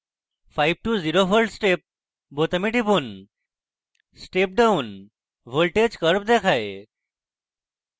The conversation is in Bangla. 5 to 0v step বোতামে টিপুন step down voltage curve দেখায়